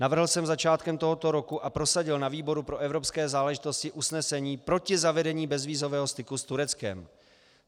Navrhl jsem začátkem tohoto roku a prosadil na výboru pro evropské záležitosti usnesení proti zavedení bezvízového styku s Tureckem.